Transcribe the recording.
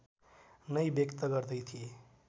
नै व्यक्त गर्दै थिए